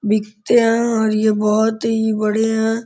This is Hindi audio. बिकते हैं और ये बहोत ही बढ़िया --